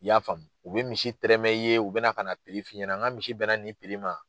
I y'a faamu? U bɛ misi tɛrɛmɛ i ye, u bɛna kana f'i ɲɛna, ŋa misi bɛnna nin ma.